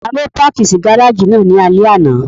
Ta ló páàkì sí gáràjì náà ní alẹ́ àná?